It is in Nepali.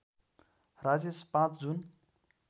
राजेश ५ जुन